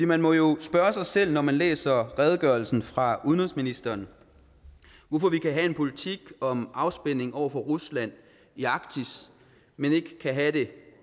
man må jo spørge sig selv når man læser redegørelsen fra udenrigsministeren hvorfor vi kan have en politik om afspænding over for rusland i arktis men vi ikke kan have det